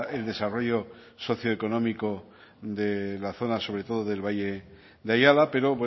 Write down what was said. el desarrollo socioeconómico de la zona sobre todo del valle de ayala pero